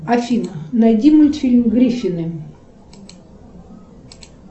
афина найди мультфильм гриффины